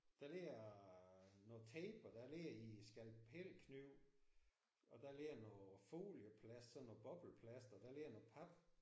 Der ligger noget tape og der ligger en skalpelkniv og der ligger noget folieplast sådan noget bobleplast og der ligger noget pap